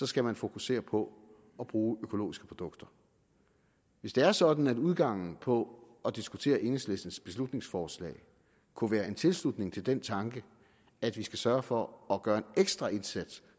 skal man fokusere på at bruge økologiske produkter hvis det er sådan at udgangen på at diskutere enhedslistens beslutningsforslag kunne være en tilslutning til den tanke at vi skal sørge for at gøre en ekstra indsats